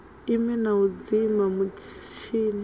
ime na u dzima mutshini